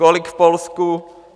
Kolik v Polsku?